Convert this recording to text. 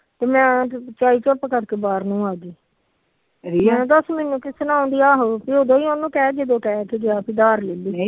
ਤੇ ਚੁਪ ਕਰਕੇ ਬਾਹਰ ਨੂੰ ਆਗੀ ਹੇ ਦਸ ਉਦੋ ਹੀ ਉਹਨੂੰ ਕਹਿ ਜਦੋ ਅਧਾਰ ਲੈਂਦੀ